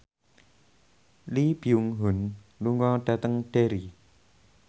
Lee Byung Hun lunga dhateng Derry